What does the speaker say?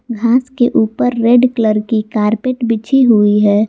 घास के ऊपर रेड कलर की कारपेट बिछी हुई है।